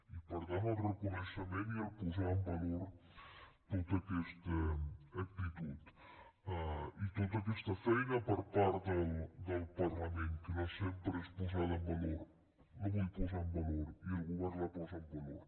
i per tant el reconeixement i el posar en valor tota aquesta actitud i tota aquesta feina per part del parlament que no sempre és posada en valor la vull posar en valor i el govern la posa en valor